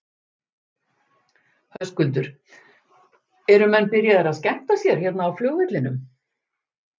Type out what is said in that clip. Höskuldur: Eru menn byrjaðir að skemmta sér hérna á flugvellinum?